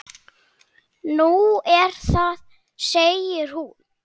Nú, er það segir hún.